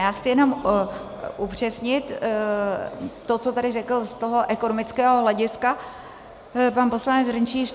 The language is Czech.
Já chci jenom upřesnit to, co tady řekl z toho ekonomického hlediska pan poslanec Hrnčíř.